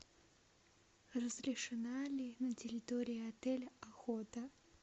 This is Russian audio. разрешена ли на территории отеля охота